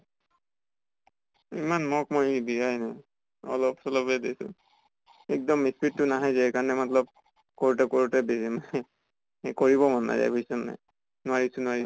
ইমান mock মই দিয়াই নাই। অলপ চলপে দিছো। এক্দন speed টো নাহে যে সেই কাৰণে মতলব কৰোতে কৰোতে দেৰি নাই এ কৰিব মন নাজায় বুজিছʼ নে নাই। নোৱাৰিছো নোৱাৰিছো